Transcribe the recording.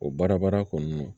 O baara bada kɔni